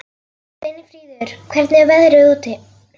Steinfríður, hvernig er veðrið úti?